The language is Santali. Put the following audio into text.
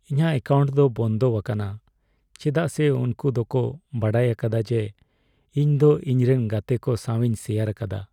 ᱤᱧᱟᱹᱜ ᱮᱠᱟᱣᱱᱴ ᱫᱚ ᱵᱚᱱᱫᱚᱣᱟᱠᱟᱱᱟ ᱪᱮᱫᱟᱜ ᱥᱮ ᱩᱝᱠᱩ ᱫᱚ ᱠᱚ ᱵᱟᱰᱟᱭ ᱟᱠᱟᱫᱟ ᱡᱮ ᱤᱧ ᱫᱚ ᱤᱧᱨᱮᱱ ᱜᱟᱛᱮᱠᱚ ᱥᱟᱣᱤᱧ ᱥᱮᱭᱟᱨ ᱟᱠᱟᱫᱟ ᱾